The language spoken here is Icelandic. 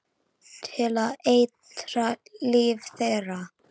Til að eitra líf þeirra.